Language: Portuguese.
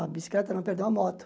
A bicicleta não perdeu a moto.